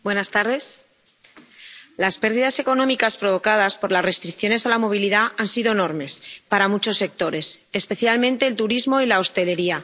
Señora presidenta, las pérdidas económicas provocadas por las restricciones a la movilidad han sido enormes para muchos sectores, especialmente el turismo y la hostelería.